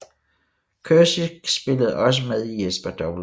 Curcic spillede også med i Jesper W